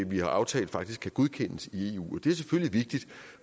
vi har aftalt faktisk kan godkendes i eu og det er selvfølgelig vigtigt